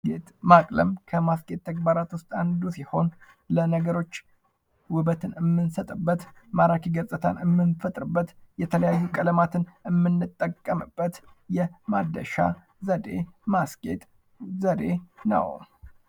ማቅለም ከማስጌጥ ተግባራ ዉስጥ አንዱ ሲሆን ለነገሮች ውበትን ምንሰጥበት ማራኪ ገጽታ ምንፈጥርበት የተለያዩ ቀለማትን የምንጠቀምበት የማደሻ ዘዴ ማስጌጥ ዘዴ ነው::